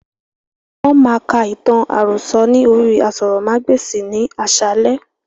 Wọn má ka ìtàn àròsọ̀ ni orí aṣórómagbesìn ni àsálẹ́